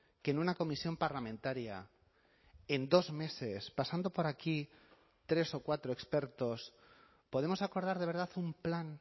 que en una comisión parlamentaria en dos meses pasando por aquí tres o cuatro expertos podemos acordar de verdad un plan